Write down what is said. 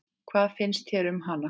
Hvað finnst þér um hana?